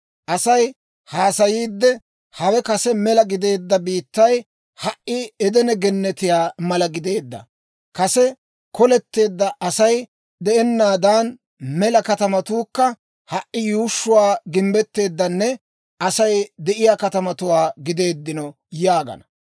Asay haasayiidde, hawe kase mela gideedda biittay ha"i Edene Gennetiyaa mala gideedda; kase koleteedda, Asay de'ennanne mela katamatuukka ha"i yuushshuu gimbbetteedanne Asay de'iyaa katamatuwaa gideedino yaagana.